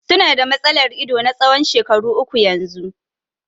Su na da matsalar ido na tsawon shekaru uku yanzu.